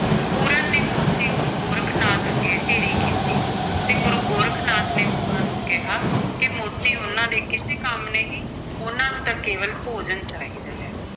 ਪੂਰਨ ਨੇ ਮੋਤੀ ਗੁਰੂ ਗੋਰਖ ਨਾਥ ਅੱਗੇ ਢੇਰੀ ਕੀਤੇ ਤੇ ਗੁਰੂ ਗੋਰਖ ਨਾਥ ਨੇ ਪੂਰਨ ਨੂੰ ਕਿਹਾ ਕਿ ਮੋਤੀ ਉਨ੍ਹਾਂ ਦੇ ਕਿਸੇ ਕੰਮ ਨਹੀਂ, ਉਨ੍ਹਾਂ ਨੂੰ ਤਾਂ ਕੇਵਲ ਭੋਜਨ ਚਾਹੀਦਾ ਹੈ।